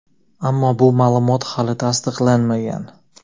ammo bu ma’lumot hali tasdiqlanmagan.